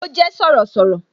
Ó jé Sọ̀rọ̀sọ̀rọ̀